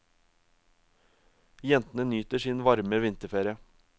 Jentene nyter sin varme vinterferie.